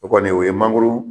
O kɔni o ye mangoro